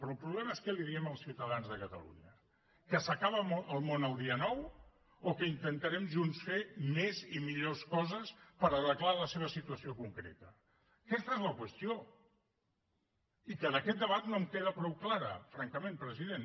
però el problema és què els diem als ciutadans de catalunya que s’acaba el món el dia nou o que intentarem junts fer més i millors coses per arreglar la seva situació concreta aquesta és la qüestió i que d’aquest debat no em queda prou clara francament president